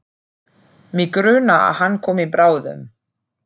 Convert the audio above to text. Mig grunar að hann komi bráðum.